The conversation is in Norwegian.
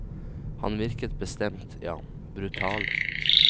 Han virket bestemt, ja, brutal.